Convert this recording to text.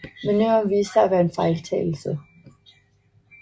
Manøvren viste sig at være en fejltagelse